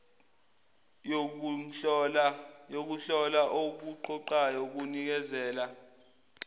yokuhlola okuqoqayo kunikeza